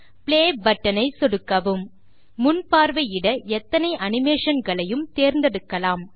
play button ஐ சொடுக்கவும் முன் பார்வையிட எத்தனை அனிமேஷன் களையும் தேர்ந்தெடுக்கலாம்